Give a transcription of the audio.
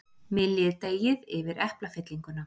Myljið deigið yfir eplafyllinguna.